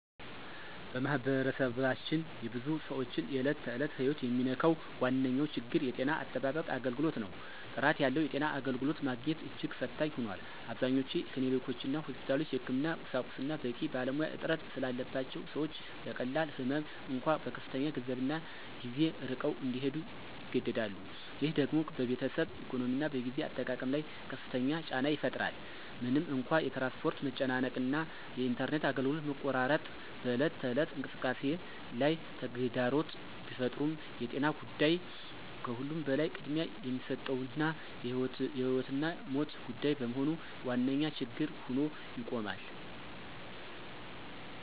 በማኅበረሰባችን የብዙ ሰዎችን የዕለት ተዕለት ሕይወት የሚነካው ዋነኛው ችግር የጤና አጠባበቅ አገልግሎት ነው። ጥራት ያለው የጤና አገልግሎት ማግኘት እጅግ ፈታኝ ሆኗል። አብዛኞቹ ክሊኒኮችና ሆስፒታሎች የሕክምና ቁሳቁስና በቂ ባለሙያ እጥረት ስላለባቸው ሰዎች ለቀላል ህመም እንኳ በከፍተኛ ገንዘብና ጊዜ ርቀው እንዲሄዱ ይገደዳሉ። ይህ ደግሞ በቤተሰብ ኢኮኖሚና በጊዜ አጠቃቀም ላይ ከፍተኛ ጫና ይፈጥራል። ምንም እንኳ የትራንስፖርት መጨናነቅ እና የኢንተርኔት አገልግሎት መቆራረጥ በዕለት ተዕለት እንቅስቃሴ ላይ ተግዳሮት ቢፈጥሩም የጤና ጉዳይ ከሁሉም በላይ ቅድሚያ የሚሰጠውና የሕይወትና ሞት ጉዳይ በመሆኑ ዋነኛ ችግር ሆኖ ይቆማል።